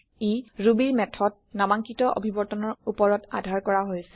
ই Rubyৰ মেথড নামাংকিত অভিবৰ্তনৰ উপৰত আধাৰ কৰা হৈছে